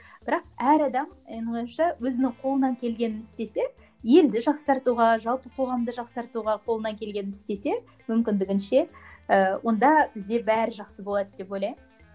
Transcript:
бірақ әр адам менің ойымша өзінің қолынан келгенін істесе елді жақсартуға жалпы қоғамды жақсартуға қолынан келгенін істесе мүмкіндігінше ыыы онда бізде бәрі жақсы болады деп ойлаймын